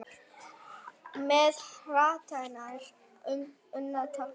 með hartnær unnu tafli.